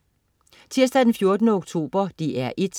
Tirsdag den 14. oktober - DR 1: